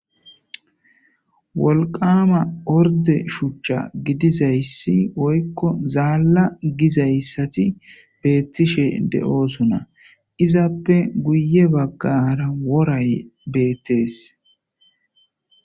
wolqaama orde shuchcha gidizayssi woykko zaalla gizayssati beettishe de7oosona izappe guye baggaara woray beettees